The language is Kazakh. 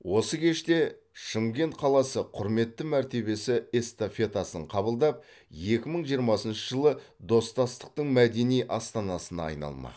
осы кеште шымкент қаласы құрметті мәртебе эстафетасын қабылдап екі мың жиырмасыншы жылы достастықтың мәдени астанасына айналмақ